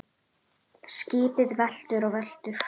UNNUR: Skipið veltur og veltur.